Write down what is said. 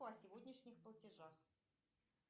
о сегодняшних платежах